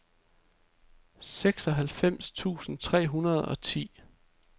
seksoghalvfems tusind tre hundrede og ti